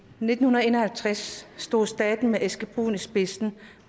nitten en og halvtreds stod staten med eske brun i spidsen